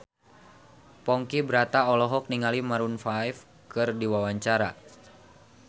Ponky Brata olohok ningali Maroon 5 keur diwawancara